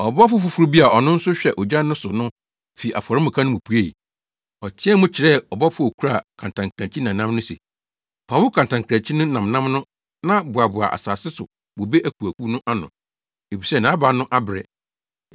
Ɔbɔfo foforo bi a ɔno nso hwɛ ogya no so no fi afɔremuka no mu puei. Ɔteɛɛ mu kyerɛɛ ɔbɔfo a okura kantankrankyi nnamnam no se, “Fa wo kantankrankyi nnamnam no na boaboa asase so bobe akuwakuw no ano, efisɛ nʼaba no abere.”